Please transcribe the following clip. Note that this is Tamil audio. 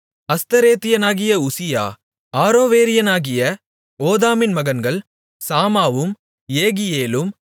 அஸ்தரேத்தியனாகிய உசியா ஆரோவேரியனாகிய ஓதாமின் மகன்கள் சமாவும் யேகியேலும்